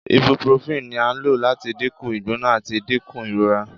Ibuprofen ni a lo lati dinku igbona ati dinku irora